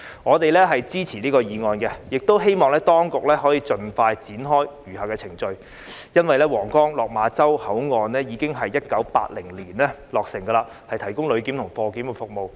我們支持這項議案，並希望當局可以盡快展開餘下的程序，因為皇崗、落馬洲口岸已於1980年落成，提供旅檢及貨檢服務。